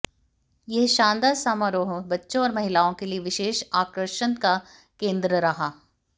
यह शानदार समारोह बच्चों और महिलाओं के लिए विशेष आकर्षण का केन्द्र रहा